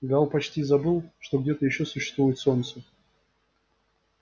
гаал почти забыл что где-то ещё существует солнце